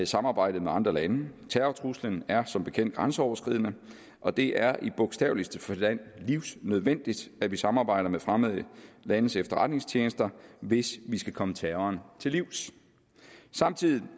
samarbejde med andre lande terrortruslen er som bekendt grænseoverskridende og det er i bogstaveligste forstand livsnødvendigt at vi samarbejder med fremmede landes efterretningstjenester hvis vi skal komme terroren til livs samtidig